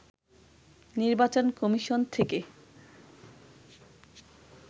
নির্বাচন কমিশন থেকে